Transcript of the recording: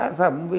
Ah, Zabumbeiro!